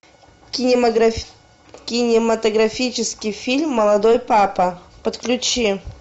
кинематографический фильм молодой папа подключи